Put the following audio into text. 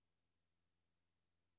Formatér.